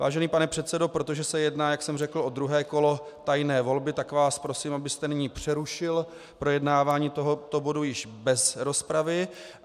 Vážený pane předsedo, protože se jedná, jak jsem řekl, o druhé kolo tajné volby, tak vás prosím, abyste nyní přerušil projednávání tohoto bodu již bez rozpravy.